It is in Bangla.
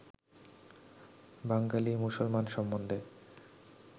বাঙালী মুসলমান সম্বন্ধে